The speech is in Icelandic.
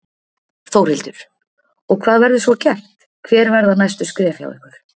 Þórhildur: Og hvað verður svo gert, hver verða næstu skref hjá ykkur?